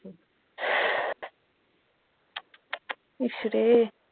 ইশ রে